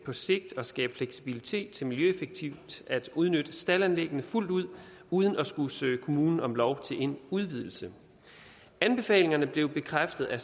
på sigt skabe fleksibilitet til miljøeffektivt at udnytte staldanlæggene fuldt ud uden at skulle søge kommunen om lov til en udvidelse anbefalingerne blev bekræftet af